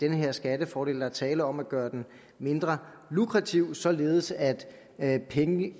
den her skattefordel der er tale om at gøre den mindre lukrativ således at at